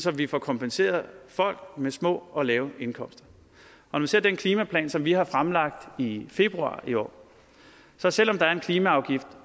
at vi får kompenseret folk med små og lave indkomster når vi ser den klimaplan som vi har fremlagt i februar i år så selv om der er en klimaafgift